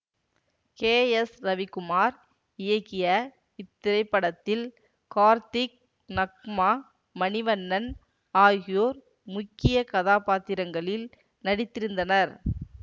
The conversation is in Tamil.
கே எஸ் ரவிக்குமார் இயக்கிய இத்திரைப்படத்தில் கார்த்திக் நக்மா மணிவண்ணன் ஆகியோர் முக்கிய கதாபாத்திரங்களில் நடித்திருந்தனர்